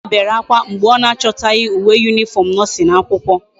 Nneoma bere akwa mgbe o na achotaghi uwe uniform nursing akwukwo